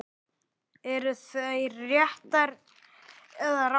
Eru þær réttar eða rangar?